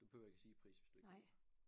Du behøver ikke at sige pris hvis du ikke vil